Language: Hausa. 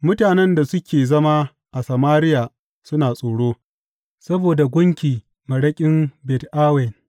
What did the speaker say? Mutanen da suke zama a Samariya suna tsoro saboda gunki maraƙin Bet Awen.